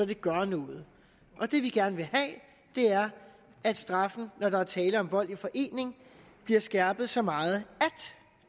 det gør noget og det vi gerne vil have er at straffen når der er tale om vold i forening bliver skærpet så meget at